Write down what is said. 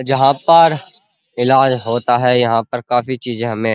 जहाँ पर इलाज़ होता है। यहाँ पर काफी चीज़े हमें --